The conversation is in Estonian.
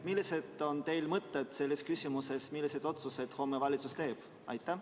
Millised on teie mõtted selles küsimuses, milliseid otsuseid valitsus homme teeb?